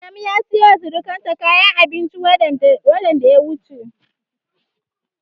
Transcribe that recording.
Adamu ya siyowa surukansa kayan abinci watan da ya wuce.